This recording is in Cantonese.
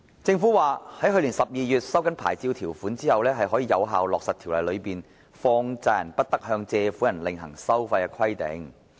政府表示，在去年12月收緊牌照條款後，可以有效落實條例中放債人不得向借款人另行收費的規定。